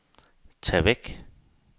tag væk